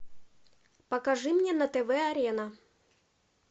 покажи мне на тв арена